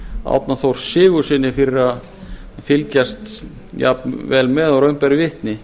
árna þór sigurðssyni fyrir að fylgjast jafn vel með og raun ber vitni